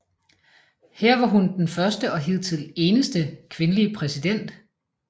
Her var hun den første og hidtil eneste kvindelige præsident